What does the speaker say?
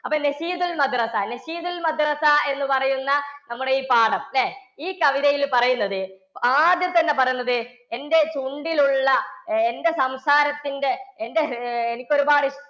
അപ്പൊ എന്നുപറയുന്ന നമ്മുടെ ഈ പാഠം ഈ കവിതയില്‍ പറയുന്നത് ആദ്യം തന്നെ പറയുന്നത് എന്‍ടെ ചുണ്ടിലുള്ള എന്‍ടെ സംസാരത്തിന്‍ടെ എന്‍ടെ അഹ് എനിക്കൊരുപാട്